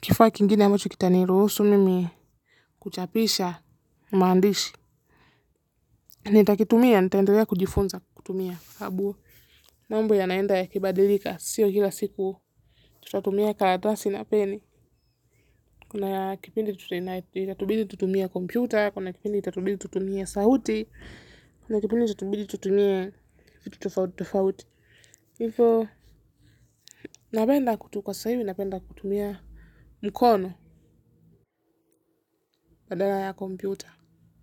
kifaa kingine ambacho kita niruhusu mimi kuchapisha maandishi. Nitakitumia nitaendelea kujifunza kutumia sababu mambo yanaenda yakibadilika sio kila siku tutatumia karatasi na pen. Kuna ya kipindi itatubidi tutumie kompyuta. Kuna ya kipindi itatubidi tutumie sauti. Kuna ya kipindi itatubidi tutumie tutumie vitu tofauti tofauti hivo napenda tu kwa sasa hivi napenda kutumia mkono badala ya kompyuta.